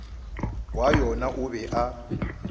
wa yona o be a